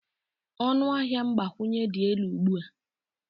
ọnụ ahịa mgbakwunye dị elu ugbu a